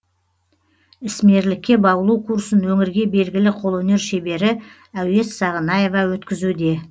ісмерлікке баулу курсын өңірге белгілі қолөнер шебері әуес сағынаева өткізуде